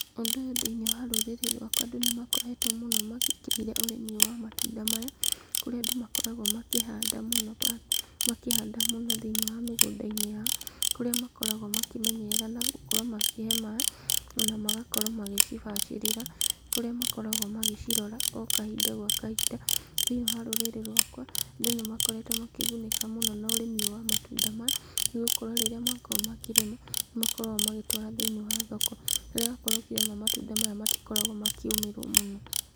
Ũndũ ũyũ thĩiniĩ wa rũrĩrĩ rwakwa andũ nĩ makoretwo mũno mawĩkĩrĩire ũrĩmi ũyũ wa matunda maya, kũrĩa andũ makoragwo makĩhanda mũno, makĩhanda mũno thĩiniĩ wa mĩgũnda-inĩ yao, kũrĩa makoragwo makĩmenyerera na gũkorwo makĩhe maaĩ, ona magakorwo magĩcibacĩrĩra, kũrĩa makoragwo magĩcirora o kahinda gwa kahinda, thĩiniĩ wa rũrĩrĩ rwakwa, andũ nĩ makoretwo makĩgunĩka mũno na ũrĩmi ũyũ wa matunda maya, nĩgũkorwo rĩrĩa makorwo makĩrĩma, nĩmakoragwo magĩtwara thĩiniĩ wa thoko, rĩrĩa wakorwo ũkĩrĩma matunda maya matĩkoragwo makĩũmĩrwo mũno.